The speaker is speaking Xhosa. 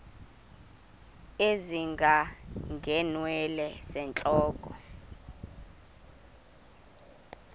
ezinga ngeenwele zentloko